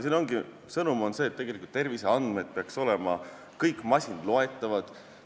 Siin ongi sõnum selline, et tegelikult peaksid terviseandmed olema kõik masinloetavad.